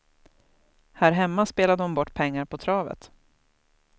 Här hemma spelade hon bort pengar på travet.